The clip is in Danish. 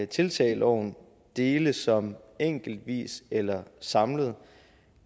tiltag i loven dele som enkeltvis eller samlet